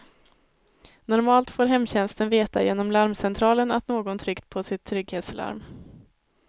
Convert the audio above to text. Normalt får hemtjänsten veta genom larmcentralen att någon tryckt på sitt trygghetslarm.